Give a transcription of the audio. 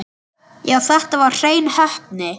Já, þetta var hrein heppni.